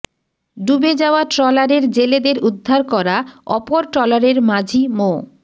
ডুবে যাওয়া ট্রলারের জেলেদের উদ্ধার করা অপর ট্রলারের মাঝি মো